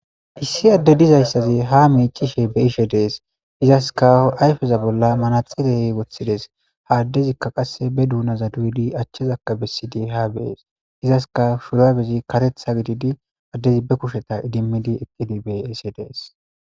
issi adde dizayssazi ha miicishe be ishe dees izaska ayfeza bolla manaxilee woththides ha addezikka qasse be duunaza duyudi achchazakka bessidi haa bees izaska shuraabezi karetha gididi addezi be kusheta idimmidi eqqidi be ise dees